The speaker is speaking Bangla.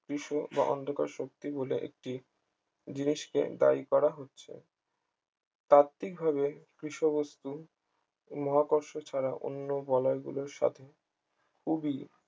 বিশ্ব বা অন্ধকার শক্তি বলে একটি জিনিসকে দায়ী করা হচ্ছে তাত্ত্বিকভাবে কৃষ্ণ বস্তু মহাকর্ষ ছাড়া অন্য বলয়গুলোর সাথে খুবই